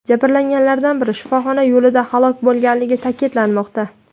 Jabrlanganlardan biri shifoxona yo‘lida halok bo‘lganligi ta’kidlanmoqda.